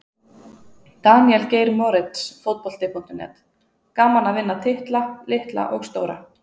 Daníel Geir Moritz, Fótbolti.net: Gaman að vinna titla, litla og stóra.